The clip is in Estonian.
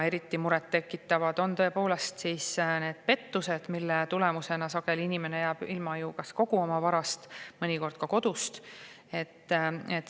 Eriti muret tekitavad on pettused, mille tulemusena sageli inimene jääb ilma kogu oma varast, mõnikord ka kodust.